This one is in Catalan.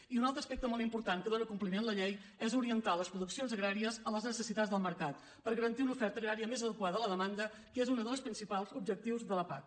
i un altre aspecte molt important a què dóna compliment la llei és a orientar les produccions agràries a les necessitats del mercat per garantir una oferta agrària més adequada a la demanda que és un dels principals objectius de la pac